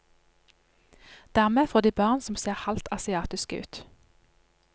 Dermed får de barn som ser halvt asiatiske ut.